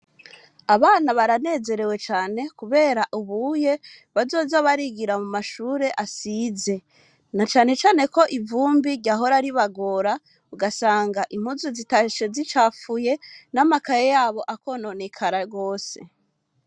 Abana baranezerewe cane kubera ubunye bazoza barigira mumashuri asize na cane cane ko ivumbi ryahora ribagora ugasanga impuzu zitashe zicafuye n'amakaye yabo akononekara gose.